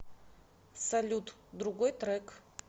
салют другой трек